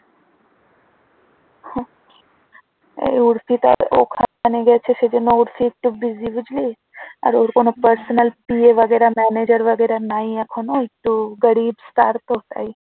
আরে ওর কোন personal PA বাগেরা manager বাগেরা নাই এখনো একটু গরিব star তো, তাই।